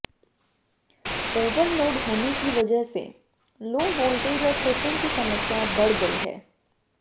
overload होने की वजह से लाे वोल्टेज और ट्रिपिंग की समस्या बढ़ गई है